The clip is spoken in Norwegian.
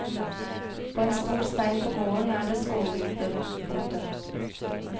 På en stor stein på gården er det skålgroper. punktum